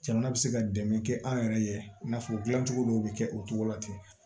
Jamana bɛ se ka dɛmɛ kɛ an yɛrɛ ye i n'a fɔ dilancogo dɔw bɛ kɛ o cogo la ten